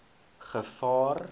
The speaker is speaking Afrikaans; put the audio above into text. gevaar